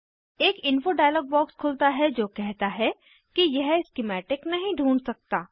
एक info dialogue box खुलता है जो कहता है कि यह स्किमैटिक नहीं ढूँढ सकता